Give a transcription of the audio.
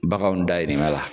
Baganw dahirimɛ la.